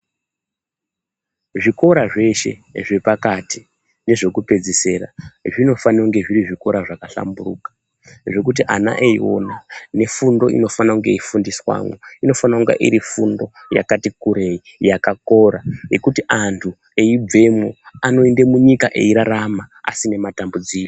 Zvikora zveshe zvepakati nezvekupedzisira zvinofanire kunge zviri zvikora zvakahlamburuka zvekuti ana Eiona nefundo inofana kunge yeifundiswamwo inofane kunge iri fundo yakati kurei yakakora yekuti antu eibvemwo anoende munyika eirarama asine matambudziko.